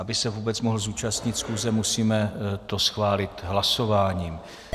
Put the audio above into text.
Aby se vůbec mohl zúčastnit schůze, musíme to schválit hlasováním.